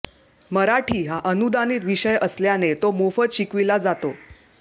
मराठी हा अनुदानित विषय असल्याने तो मोफत शिकविला जातो